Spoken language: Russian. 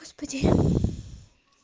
господи